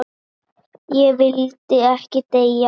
Ég vildi ekki deyja.